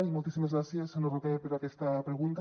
i moltíssimes gràcies senyor roquer per aquesta pregunta